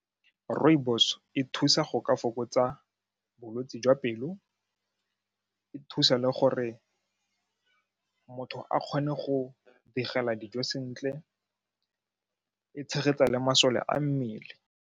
Rooibos e thusa go ka fokotsa bolwetsi jwa pelo, e thusa le gore motho a kgone go digela dijo sentle, e tshegetsa le masole a mmele.